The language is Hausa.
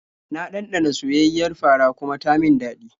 Na ɗanɗana soyayyiyar fara kuma ta min daɗi.